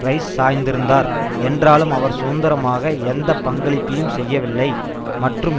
rice சாய்ந்திருந்தார் என்றாலும் அவர் சுதந்திரமாக எந்த பங்களிப்பையும் செய்யவில்லை மற்றும்